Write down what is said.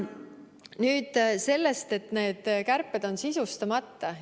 Nüüd sellest, et need kärped on sisustamata.